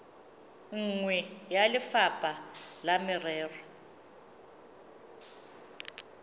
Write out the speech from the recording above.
nngwe ya lefapha la merero